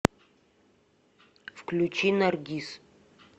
включи наргиз